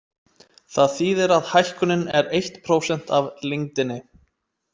Það þýðir að hækkunin er eitt prósent af lengdinni.